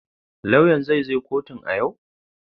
Lauyan zai zo kotun a yau?